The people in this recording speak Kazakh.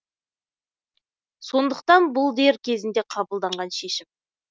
сондықтан бұл дер кезінде қабылданған шешім